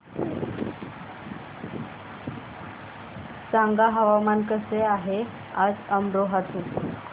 सांगा हवामान कसे आहे आज अमरोहा चे